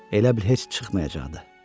Elə bil heç çıxmayacaqdı.